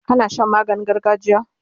kana Shan maganin gargajiya?